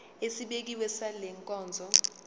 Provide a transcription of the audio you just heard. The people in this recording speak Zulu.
esibekiwe sale nkonzo